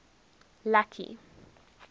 lucky